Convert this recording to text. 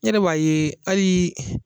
N yɛrɛ b'a yee ali